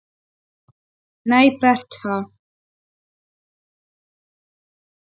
Nei, Bertha.